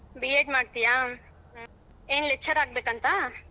B. Ed ಮಾಡ್ತೀಯಾ ಏನ್ lecturer ಆಗಬೇಕಂತ.